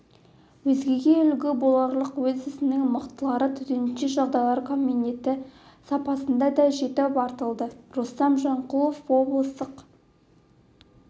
өзгеге үлгі боларлық өз ісінің мықтылары төтенше жағдайлар комитеті сапында да жетіп артылады рустам жанқұлов облыстық